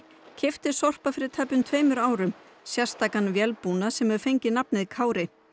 keypti Sorpa fyrir tæpum tveimur árum sérstakan vélbúnað sem hefur fengið nafnið Kári